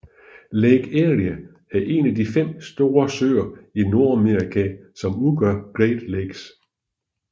Lake Erie er en af de fem store søer i Nordamerika som udgør Great Lakes